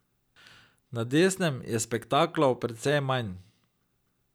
Na desnem je spektaklov precej manj.